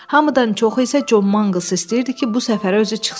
Hamıdan çoxu isə Con Mangls istəyirdi ki, bu səfərə özü çıxsın.